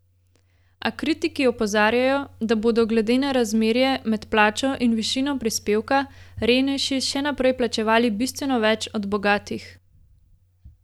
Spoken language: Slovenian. A kritiki opozarjajo, da bodo, glede na razmerje med plačo in višino prispevka, revnejši še naprej plačevali bistveno več od bogatih.